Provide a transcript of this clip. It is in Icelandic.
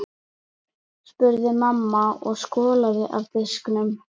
spurði mamma og skolaði af diskunum.